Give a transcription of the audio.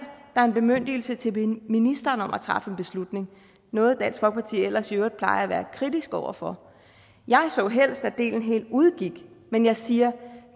er en bemyndigelse til ministeren om at træffe en beslutning noget dansk folkeparti ellers i øvrigt plejer at være kritisk over for jeg så helst at delen helt udgik men jeg siger